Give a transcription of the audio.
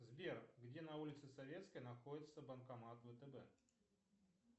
сбер где на улице советской находится банкомат втб